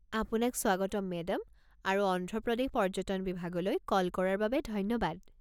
আপোনাক স্বাগতম মেডাম আৰু অন্ধ্ৰ প্ৰদেশ পৰ্য্যটন বিভাগলৈ কল কৰাৰ বাবে ধন্যবাদ।